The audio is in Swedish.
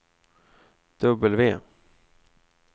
W